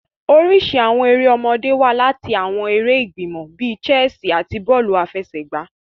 Oriṣi awọn èrè ọmọdé wa lati awọn èrè igbimọ bi chessi ati bọọlu afẹsẹgba.